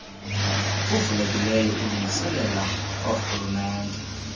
uvulelekileyo ulungiselela orhulumente